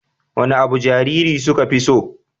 Wane abu jarirai suka fi so?